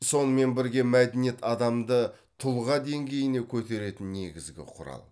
сонымен бірге мәдениет адамды тұлға деңгейіне көтеретін негізгі құрал